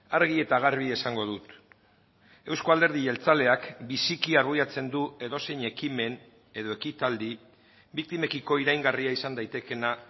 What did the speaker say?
argi eta garbi esango dut euzko alderdi jeltzaleak biziki argudiatzen du edozein ekimen edo ekitaldi biktimekiko iraingarria izan daitekeena